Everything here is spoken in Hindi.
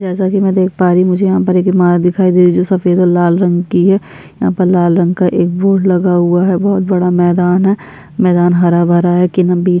जैसा कि मैं देख पा रही हूँ मुझे यहाँ पर एक इमार दिखाई दे रही जो सफेद और लाल रंग की है यहाँ पर लाल रंग का एक बोर्ड लगा हुआ है बहुत बड़ा मैदान है मैदान हरा भरा है किनबी --